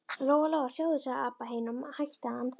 Lóa Lóa, sjáðu, sagði Abba hin og hætti að anda.